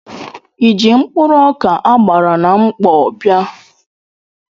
Ịji mkpụrụ ọkà a gbara na mkpọ bịa?